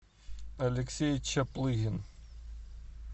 алексей чаплыгин